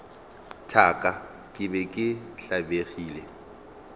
thaka ke be ke tlabegile